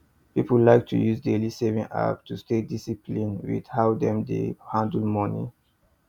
people like to use daily saving app to stay disciplined with how dem dey handle money